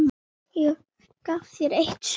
Ég gaf þér eitt sumar.